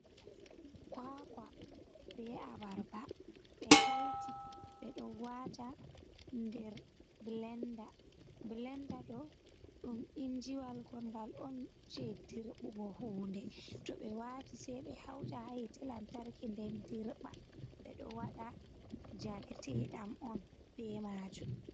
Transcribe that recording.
Kwakwa be abarba ɓe taiti ɓe ɗo wata nder blenda, blenda ɗo ɗum injiwal ngol ngal on je dirɓugo hunde, to ɓe wati sei ɓe hauta ha hite lantarke, nden dirɓa ɓe ɗo waɗa jareteɗam on be majum.